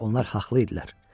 Onlar haqlı idilər.